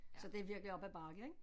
Så det er virkelig op ad bakke ik